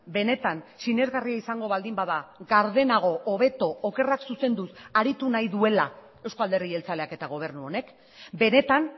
benetan sinesgarria izango baldin bada gardenago hobeto okerrak zuzenduz aritu nahi duela eusko alderdi jeltzaleak eta gobernu honek benetan